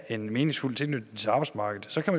en meningsfuld tilknytning til arbejdsmarkedet så kan